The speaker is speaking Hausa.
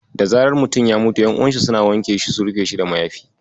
Da zarar mutum ya mutu, ƴan'uwansa suna wanke shi su rufe shi da mayafi.